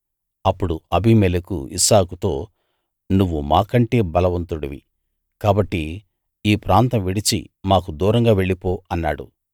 అప్పుడు అబీమెలెకు ఇస్సాకుతో నువ్వు మాకంటే బలవంతుడివి కాబట్టి ఈ ప్రాంతం విడిచి మాకు దూరంగా వెళ్లి పో అన్నాడు